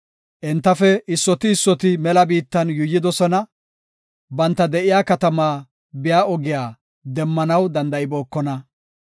Entafe issoti issoti mela biittan yuuyidosona. Banta de7iya katamaa biya ogiya demmanaw danda7ibookona.